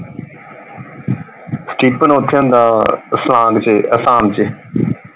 Stephen ਓਥੇ ਹੁੰਦਾ ਵਾ ਸਵਾਂਗ ਚ ਅਸਾਮ ਚ।